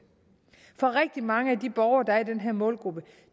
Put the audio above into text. for rigtig mange af de borgere der er i den her målgruppe